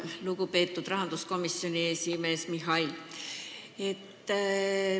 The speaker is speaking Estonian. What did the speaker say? Lugupeetud rahanduskomisjoni esimees Mihhail!